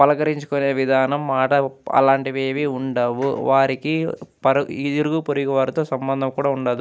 పలకరించుకునే విధానం మాట్లాడు అలాంటివి ఏమి ఉండవు. వారికీ పర్ ఇరుగు పొరుగు వారితో సంబంధం కూడా ఉండదు.